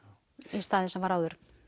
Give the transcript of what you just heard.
í stað þess að það var áður